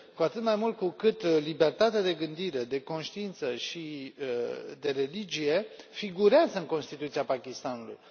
Cu atât mai mult cu cât libertatea de gândire, de conștiință și de religie figurează în Constituția Pakistanului.